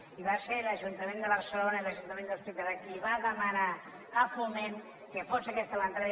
i van ser l’ajuntament de barcelona i l’ajuntament de l’hospitalet els qui van demanar a foment que fos aquesta l’entrada